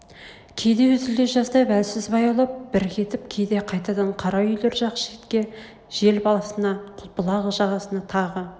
кейде үзле жаздап әлсіз баяулап бір кетіп кейде қайтадан қара үйлер жақ шетке жел басына бұлақ жағасына тағы